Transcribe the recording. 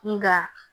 Nga